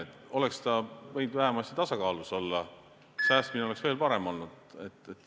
Eelarve oleks võinud vähemasti tasakaalus olla ja säästmine oleks veel parem olnud.